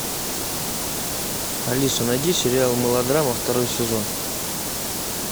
алиса найди сериал мылодрама второй сезон